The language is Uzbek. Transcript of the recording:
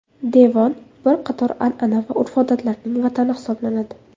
Devon bir qator anana va urf-odatlarning vatani hisoblanadi.